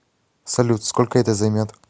салют сколько это займет